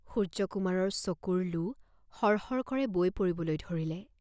সূৰ্য্যকুমাৰৰ চকুৰ লো সৰ সৰ কৰে বৈ পৰিবলৈ ধৰিলে।